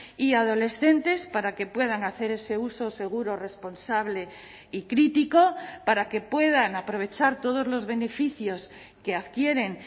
y adolescentes para que puedan hacer ese uso seguro responsable y crítico para que puedan aprovechar todos los beneficios que adquieren